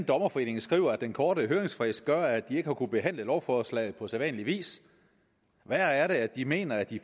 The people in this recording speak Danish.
dommerforening skriver at den korte høringsfrist gør at de ikke har kunnet behandle lovforslaget på sædvanlig vis værre er det at de mener at de